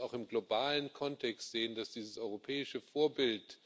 Und wir sollten es auch im globalen Kontext sehen, dass dieses europäische Vorbild